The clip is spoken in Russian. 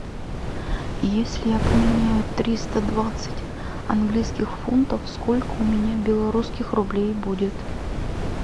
если я поменяю триста двадцать английских фунтов сколько у меня белорусских рублей будет